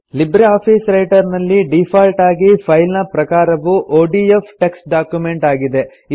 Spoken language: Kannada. ಲಿಬ್ರೆ ಆಫೀಸ್ ರೈಟರ್ ನಲ್ಲಿ ಡೀಫಾಲ್ಟ್ ಆಗಿ ಫೈಲ್ ನ ಪ್ರಕಾರವು ಒಡಿಎಫ್ ಟೆಕ್ಸ್ಟ್ ಡಾಕ್ಯುಮೆಂಟ್ ಆಗಿದೆ